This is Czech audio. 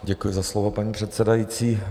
Děkuji za slovo, paní předsedající.